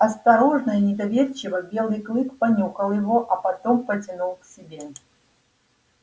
осторожно и недоверчиво белый клык понюхал его а потом потянул к себе